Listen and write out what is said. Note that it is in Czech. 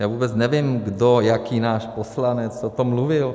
Já vůbec nevím kdo, jaký náš poslanec o tom mluvil.